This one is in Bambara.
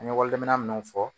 An ye wali minnu fɔ